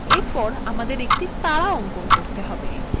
এরপর আমাদেরকে একটি তারা অঙ্কন করতে হবে